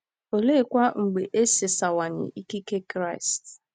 Oleekwa mgbe e sasawanye ikike Kristi?